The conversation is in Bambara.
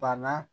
Bana